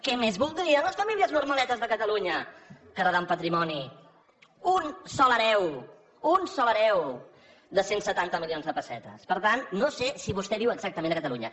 què més voldrien les famílies normaletes de catalunya que heretar un patrimoni un sol hereu un sol hereu de cent i setanta milions de pessetes per tant no sé si vostè viu exactament a catalunya